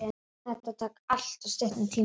Þetta tók alltof stuttan tíma.